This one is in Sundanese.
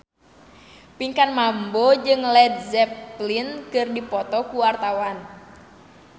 Pinkan Mambo jeung Led Zeppelin keur dipoto ku wartawan